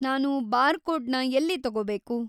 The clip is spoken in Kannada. ನಾನು ಬಾರ್‌ಕೋಡ್‌ನ ಎಲ್ಲಿ ತಗೋಬೇಕು?